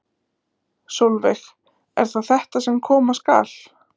Sólveig: Er það þetta sem koma skal?